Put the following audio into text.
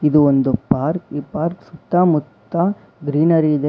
ಇದು ಒಂದು ಪಾರ್ಕ್ ಈ ಪಾರ್ಕ್ ಸುತ್ತಮುತ್ತ ಗ್ರೀನರಿ ಇದೆ --